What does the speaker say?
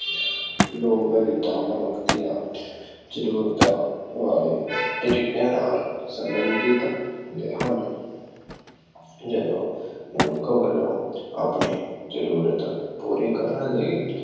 ਲੋਕ ਰੀਤਾਂ ਮਨੁੱਖ ਦੀਆਂ ਜ਼ਰੂਰਤਾਂ ਵੱਲ ਤਰੀਕਿਆਂ ਨਾਲ ਸੰਬੰਧਿਤ ਹੁੰਦੇ ਹਨ। ਜਦੋਂ ਮਨੁੱਖ ਵੱਲੋਂ ਆਪਣੇ ਜ਼ਰੂਰਤ ਪੂਰੀ ਕਰਨ ਲਈ